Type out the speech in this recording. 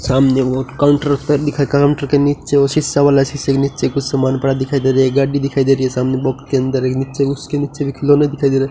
सामने काउंटर दिख रहा काउंटर के नीचे शीशा वाला शीशे के नीचे कुछ सामान पड़ा दिखाई दे रहा है गाड़ी दिखाई दे रही है सामने बॉक्स के अंदर नीचे उसके नीचे खिलौना दिखाई दे रहा --